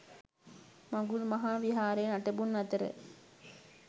මඟුල් මහා විහාරයේ නටබුන් අතර